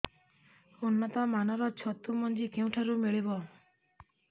ଉନ୍ନତ ମାନର ଛତୁ ମଞ୍ଜି କେଉଁ ଠାରୁ ମିଳିବ